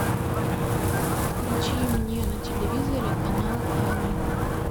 включи мне на телевизоре канал ани